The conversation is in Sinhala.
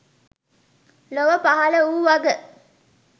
ලොව පහළ වූ වග